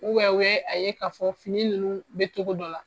u ye a ye ka fɔ fini nunnu be cogo dɔ la